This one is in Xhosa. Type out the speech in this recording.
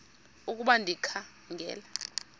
ukuba ndikha ngela